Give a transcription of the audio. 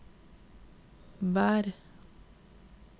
vær